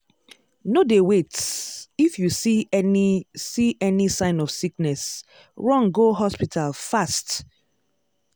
no dey wait-if you see any see any sign of sickness run go hospital fast!